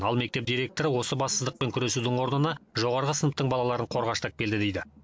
ал мектеп директоры осы бассыздықпен күресудің орнына жоғарғы сыныптың балаларын қорғаштап келді дейді